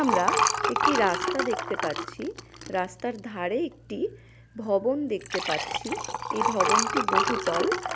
আমরা একটি রাস্তা দেখতে পাচ্ছি. রাস্তার ধারে একটি ভবন দেখতে পাচ্ছি. এই ভবনটি বহুতল।